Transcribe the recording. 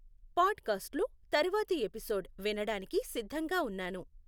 పాడ్ కాస్ట్లో తర్వాతి ఎపిసోడ్ వినడానికి సిద్ధంగా ఉన్నాను